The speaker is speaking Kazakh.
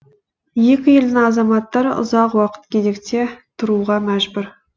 екі елдің азаматтары ұзақ уақыт кезекте тұруға мәжбүр